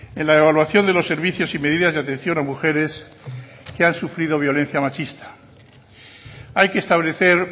en la evaluación de los servicios y medidas de atención a mujeres que han sufrido violencia machista hay que establecer